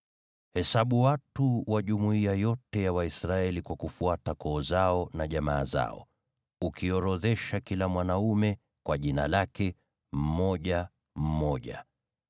“Hesabu watu wa jumuiya yote ya Waisraeli kwa kufuata koo zao na jamaa zao, ukiorodhesha kila mwanaume kwa jina lake, mmoja mmoja.